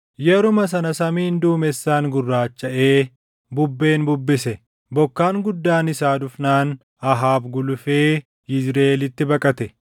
Yeruma sana samiin duumessaan gurraachaʼee bubbeen bubbise; bokkaan guddaan isaa dhufnaan Ahaab gulufee Yizriʼeelitti baqate.